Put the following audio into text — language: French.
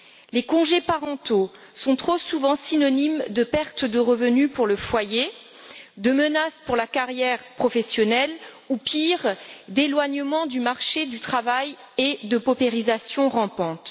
Les congés parentaux sont trop souvent synonymes de perte de revenu pour le foyer, de menace pour la carrière professionnelle ou, pire, d'éloignement du marché du travail et de paupérisation rampante.